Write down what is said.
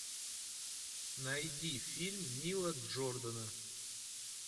найди фильм нила джордана